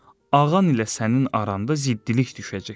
Ağanın ilə sənin aranda ziddilik düşəcək.